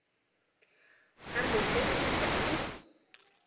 a lotseno go tswa mo